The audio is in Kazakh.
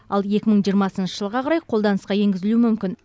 ал екі мың жиырмасыншы жылға қарай қолданысқа енгізілуі мүмкін